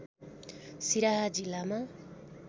सिराहा जिल्लामा